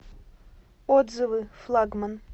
отзывы флагман